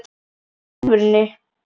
Í alvörunni?